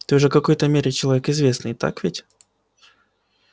ты уже какой-то мере человек известный так ведь